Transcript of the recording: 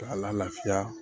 K'a lafiya